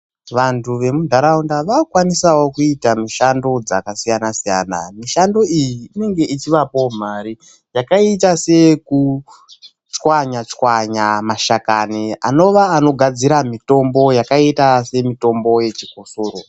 Vantu vemunharaunda vaakukwanisawo kuita mushando dzakasiyana siyana. Mishando iyi inenge ichivapawo mari yakaita seyekuchwanya chwanya mashakani anova anogadzira mitombo yakaita semitombo yechikosoro.